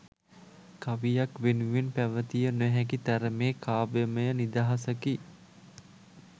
කවියක් වෙනුවෙන් පැවතිය නොහැකි තරමේ කාව්‍යමය නිදහසකි